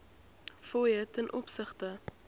fooie ten opsigte